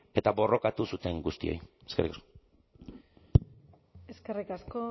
eta borrokatu zuten guztioi eskerrik asko